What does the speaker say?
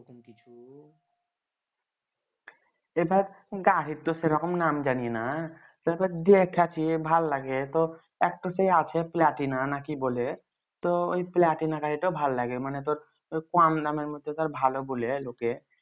এইবার গাড়ির তো সেইরকম নাম জানিনা দেখাছি ভাল লাগে তো একটা তো সেই আছে platinum না কি বলে তো ওই platinum তাই ভাল লাগে তোর কম দামে মধ্যে তোর ভালো বলে লোকে